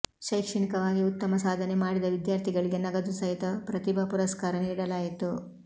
ಶೈಕ್ಷಣಿವಾಗಿ ಉತ್ತಮ ಸಾಧನೆ ಮಾಡಿದ ವಿದ್ಯಾರ್ಥಿಗಳಿಗೆ ನಗದು ಸಹಿತ ಪ್ರತಿಭಾ ಪುರಸ್ಕಾರ ನೀಡಲಾಯಿತು